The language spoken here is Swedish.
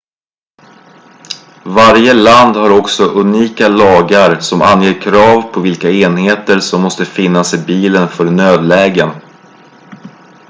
varje land har också unika lagar som anger krav på vilka enheter som måste finnas i bilen för nödlägen